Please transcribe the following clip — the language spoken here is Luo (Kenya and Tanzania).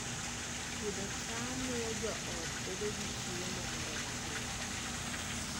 Pidho cham miyo joot bedo gi chiemo moromogi